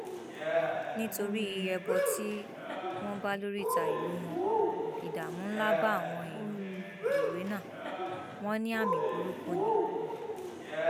nítorí ẹbọ tí wọn bá lóríta ìlú wọn ìdààmú ńlá bá àwọn èèyàn owena wọn ní àmì burúkú ni